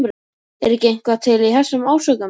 Er ekki eitthvað til í þessum ásökunum?